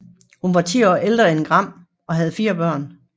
Hun var 10 år ældre end Gram og havde fire børn